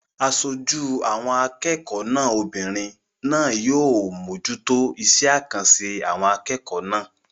Aṣojú àwọn akẹ́kọ̀ọ́ náà obìnrin náà yóò mójútó iṣé àkànṣe àwọn akẹ́kọ̀ọ́ náà